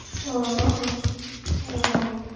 અ હ અ